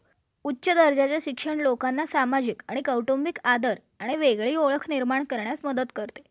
corruption समावेश केलेला असेल